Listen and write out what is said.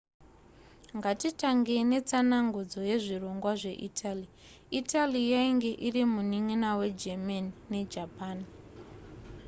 ngatitangei netsanangudzo yezvirongwa zveitaly italy yainge iri munin'ina wegermany nejapan